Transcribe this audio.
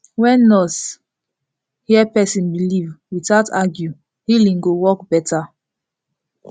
wen nurse hear person belief without argue healing go work better